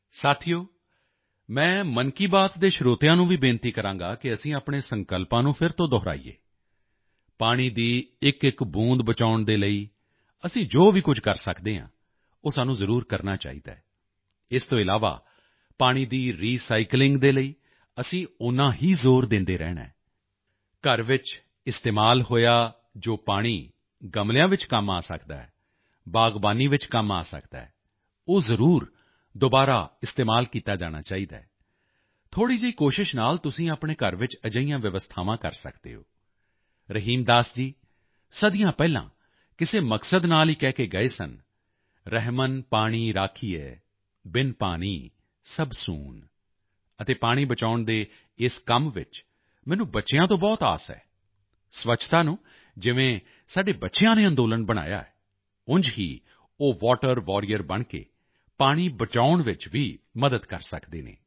ਸਾਥੀਓ ਮੈਂ ਮਨ ਕੀ ਬਾਤ ਦੇ ਸਰੋਤਿਆਂ ਨੂੰ ਵੀ ਬੇਨਤੀ ਕਰਾਂਗਾ ਕਿ ਅਸੀਂ ਆਪਣੇ ਸੰਕਲਪਾਂ ਨੂੰ ਫਿਰ ਤੋਂ ਦੁਹਰਾਈਏ ਪਾਣੀ ਦੀ ਇੱਕਇੱਕ ਬੂੰਦ ਬਚਾਉਣ ਦੇ ਲਈ ਅਸੀਂ ਜੋ ਵੀ ਕੁਝ ਕਰ ਸਕਦੇ ਹਾਂ ਉਹ ਸਾਨੂੰ ਜ਼ਰੂਰ ਕਰਨਾ ਚਾਹੀਦਾ ਹੈ ਇਸ ਤੋਂ ਇਲਾਵਾ ਪਾਣੀ ਦੀ ਰੀਸਾਈਕਲਿੰਗ ਦੇ ਲਈ ਅਸੀਂ ਓਨਾ ਹੀ ਜ਼ੋਰ ਦਿੰਦੇ ਰਹਿਣਾ ਹੈ ਘਰ ਵਿੱਚ ਇਸਤੇਮਾਲ ਹੋਇਆ ਜੋ ਪਾਣੀ ਗਮਲਿਆਂ ਵਿੱਚ ਕੰਮ ਆ ਸਕਦਾ ਹੈ ਗਾਰਡਨਿੰਗ ਵਿੱਚ ਕੰਮ ਆ ਸਕਦਾ ਹੈ ਉਹ ਜ਼ਰੂਰ ਦੁਬਾਰਾ ਇਸਤੇਮਾਲ ਕੀਤਾ ਜਾਣਾ ਚਾਹੀਦਾ ਹੈ ਥੋੜ੍ਹੀ ਜਿਹੀ ਕੋਸ਼ਿਸ਼ ਨਾਲ ਤੁਸੀਂ ਆਪਣੇ ਘਰ ਵਿੱਚ ਅਜਿਹੀਆਂ ਵਿਵਸਥਾਵਾਂ ਕਰ ਸਕਦੇ ਹੋ ਰਹੀਮ ਦਾਸ ਜੀ ਸਦੀਆਂ ਪਹਿਲਾਂ ਕਿਸੇ ਮਕਸਦ ਨਾਲ ਹੀ ਕਹਿ ਕੇ ਗਏ ਹਨ ਰਹਿਮਨ ਪਾਨੀ ਰਾਖੀਏ ਬਿਨ ਪਾਨੀ ਸਬ ਸੂਨ ਅਤੇ ਪਾਣੀ ਬਚਾਉਣ ਦੇ ਇਸ ਕੰਮ ਵਿੱਚ ਮੈਨੂੰ ਬੱਚਿਆਂ ਤੋਂ ਬਹੁਤ ਆਸ ਹੈ ਸਵੱਛਤਾ ਨੂੰ ਜਿਵੇਂ ਸਾਡੇ ਬੱਚਿਆਂ ਨੇ ਅੰਦੋਲਨ ਬਣਾਇਆ ਉਂਝ ਹੀ ਉਹ ਵਾਟਰ ਵਾਰੀਅਰ ਬਣ ਕੇ ਪਾਣੀ ਬਚਾਉਣ ਵਿੱਚ ਮਦਦ ਕਰ ਸਕਦੇ ਹਨ